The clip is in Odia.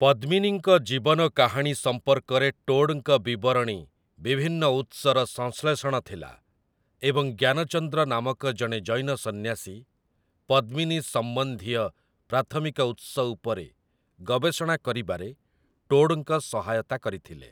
ପଦ୍ମିନୀଙ୍କ ଜୀବନ କାହାଣୀ ସଂପର୍କରେ ଟୋଡ୍‌ଙ୍କ ବିବରଣୀ ବିଭିନ୍ନ ଉତ୍ସର ସଂଶ୍ଳେଷଣ ଥିଲା ଏବଂ ଜ୍ଞାନଚନ୍ଦ୍ର ନାମକ ଜଣେ ଜୈନ ସନ୍ନ୍ୟାସୀ ପଦ୍ମିନୀ ସମ୍ବନ୍ଧୀୟ ପ୍ରାଥମିକ ଉତ୍ସ ଉପରେ ଗବେଷଣା କରିବାରେ ଟୋଡ୍‌ଙ୍କ ସହାୟତା କରିଥିଲେ ।